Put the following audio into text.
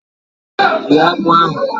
Rie akpụ ahụ!